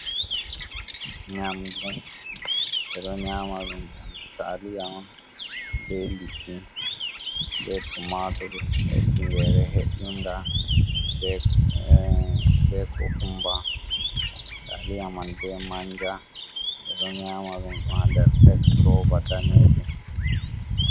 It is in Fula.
"Nyamdu" ɓeɗo nyama ɗum nyamdu taliya on be liɗɗi be tumatur ɓe tingere he’inga be kukumba taliya man be manja ɓeɗo nyama ɗum ɗo ha nder tek roba danejum.